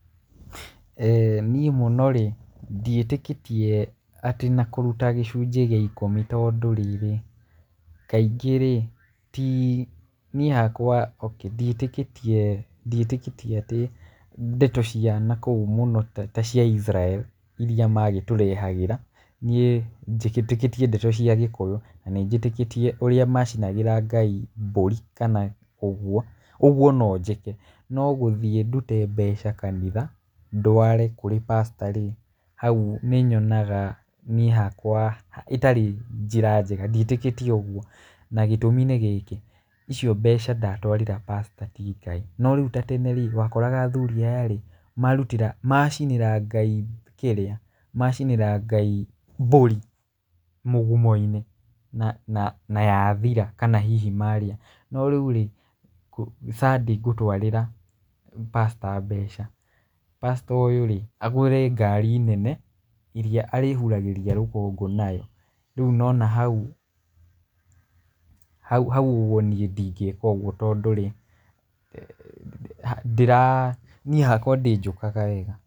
Niĩ mũno rĩ, ndiĩtĩkĩtie atĩ na kũruta gĩcunjĩ gĩa ikũmi tondũ rĩrĩ, kaingĩ rĩ, ti niĩ hakwa ndiĩtĩkĩtie, ndiĩtĩkĩtie atĩ ndeto cia nakũu mũno ta cia Israel iria magĩtũrehagĩra, niĩ njĩtĩkĩtie ndeto cia Gĩkũyũ na nĩ njĩtĩkĩtie ũrĩa macinagĩra Ngai mbũri kana ũguo. Ũguo no njĩke. No gũthiĩ ndute mbeca kanitha ndware kũrĩ pastor-rĩ, hau nĩnyonaga niĩ hakwa ĩtarĩ njĩra njega ndiĩtĩkĩtie ũguo, na gĩtũmi nĩ gĩkĩ, icio mbeca ndatwarĩra pastor ti Ngai. No rĩu ta tene-rĩ wakoraga athuri aya-rĩ, marutĩra macinĩra Ngai kĩrĩa, macinĩra Ngai mbũri mũgumo-inĩ na na na yathira kana hihi marĩa. No rĩu rĩ, Sunday ngũtwarĩra pastor mbeca, pastor ũyũ rĩ, agũre ngari nene iria arĩhuragĩria rũkũngũ nayo. Rĩu nĩwona hau, hau hau ũguo niĩ ndingĩka ũguo tondũ rĩ, ndĩra niĩ hakwa ndĩnjũkaga wega.